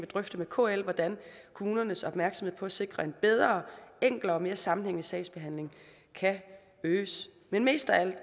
drøfte med kl hvordan kommunernes opmærksomhed på at sikre en bedre enklere og mere sammenhængende sagsbehandling kan øges men mest af alt